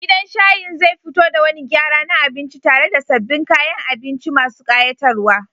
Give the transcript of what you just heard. Gidan shayin zai fito da wani gyara na abinci tare da sabbin kayan abinci masu ƙayatarwa.